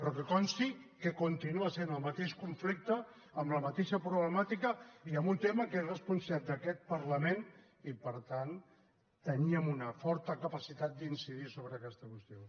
però que consti que continua sent el mateix conflicte amb la mateixa problemàtica i amb un tema que és responsabilitat d’aquest parlament i per tant teníem una forta capacitat d’incidir sobre aquesta qüestió